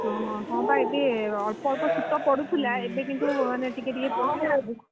ହଁ ପା ଏବେ ଅଳ୍ପ ଶୀତ ପଡୁଥିଲା ଏବେ କିନ୍ତୁ ମାନେ ଟିକେ